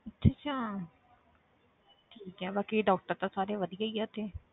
ਅੱਛਾ ਅੱਛਾ ਠੀਕ ਹੈ ਬਾਕੀ doctor ਤਾਂ ਸਾਰੇ ਵਧੀਆ ਹੀ ਆ ਉੱਥੇ।